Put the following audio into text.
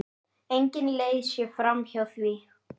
Engin leið sé framhjá því.